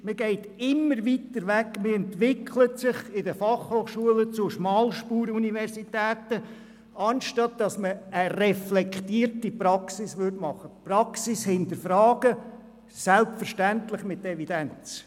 Man geht immer weiter weg von der Praxis, und die FH entwickeln sich zu Schmalspur-Universitäten, anstatt eine reflektierte Praxis anzubieten und die Praxis zu hinterfragen, selbstverständlich mit Evidenz.